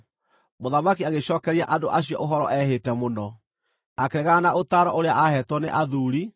Mũthamaki agĩcookeria andũ acio ũhoro ehĩte mũno. Akĩregana na ũtaaro ũrĩa aaheetwo nĩ athuuri,